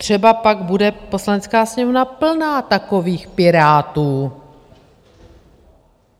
Třeba pak bude Poslanecká sněmovna plná takových Pirátů.